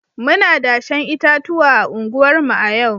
Muna dashen itatuwa a unguwarmu a yau